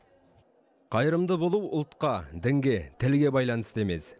қайырымды болу ұлтқа дінге тілге байланысты емес